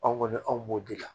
Anw kɔni anw b'o de la